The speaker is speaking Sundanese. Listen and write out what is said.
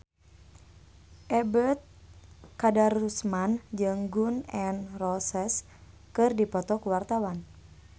Ebet Kadarusman jeung Gun N Roses keur dipoto ku wartawan